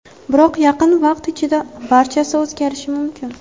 Biroq yaqin vaqt ichida barchasi o‘zgarishi mumkin.